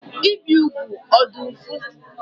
Ibi ugwu ọ dị ụfụ?